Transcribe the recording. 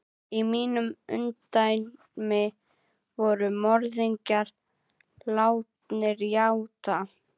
Í mínu ungdæmi voru morðingjar látnir játa.